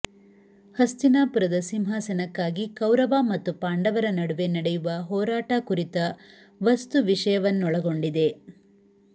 ಹಸ್ತಿನಾಪುರದ ಸಿಂಹಾಸನಕ್ಕಾಗಿ ಕೌರವ ಮತ್ತು ಪಾಂಡವರ ನಡುವೆ ನಡೆಯುವ ಹೋರಾಟ ಕುರಿತ ವಸ್ತು ವಿಷಯವನ್ನೊಳಗೊಂಡಿದೆ